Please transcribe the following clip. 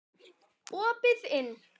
Opið inn!